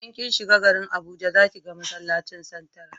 in kin shiga garin abuja za ki ga masallacin santra